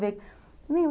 ver.